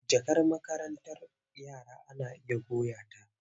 Jakar makarantar yara ana iya goya ta.